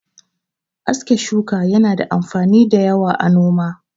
Aske shuka yana da amfani da yawa a noma.